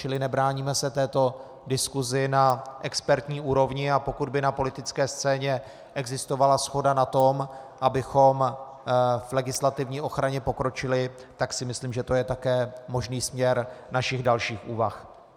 Čili nebráníme se této diskusi na expertní úrovni, a pokud by na politické scéně existovala shoda na tom, abychom v legislativní ochraně pokročili, tak si myslím, že to je také možný směr našich dalších úvah.